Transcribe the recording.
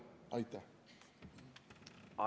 Aitäh!